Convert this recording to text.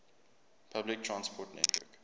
public transport network